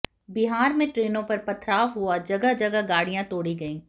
बिहार में ट्रेनों पर पथराव हुआ जगह जगह गाड़ियां तोड़ी गयी